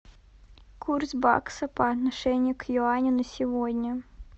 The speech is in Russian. курс бакса по отношению к юаню на сегодня